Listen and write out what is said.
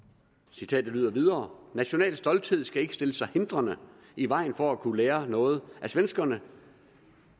citatet lyder videre national stolthed skal ikke stille sig hindrende i vejen for at kunne lære noget af svenskerne